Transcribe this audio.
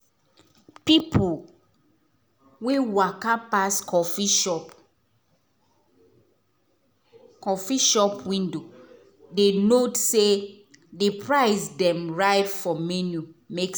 people wey waka pass coffee shop coffe shop window dey nod say di price dem write for menu make